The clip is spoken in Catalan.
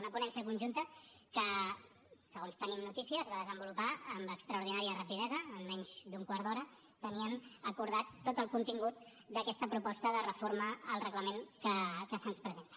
una ponència conjunta que segons tenim notícies es va desenvolupar amb extraordinària rapidesa en menys d’un quart d’hora tenien acordat tot el contingut d’aquesta proposta de reforma al reglament que se’ns presenta